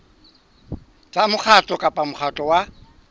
tsa mokgatlo kapa mokgatlo wa